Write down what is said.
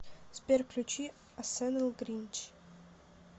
сбер включи асэнэл гринч